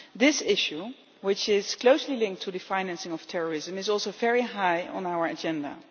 This issue, which is closely linked to the financing of terrorism, is also very high on our agenda.